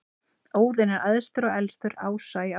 Óðinn er æðstur og elstur ása í Ásatrú.